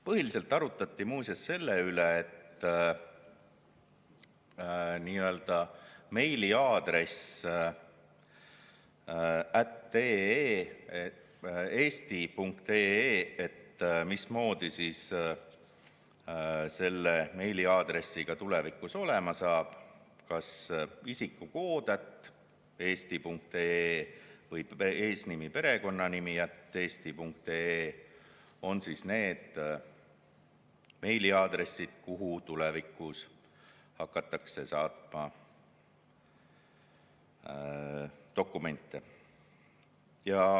Põhiliselt arutati muuseas meiliaadressi eesti.ee üle: mismoodi selle meiliaadressiga tulevikus olema saab, kas isikukood@eesti.ee või eesnimi, perekonnanimi@eesti.ee on need meiliaadressid, kuhu tulevikus hakatakse saatma dokumente.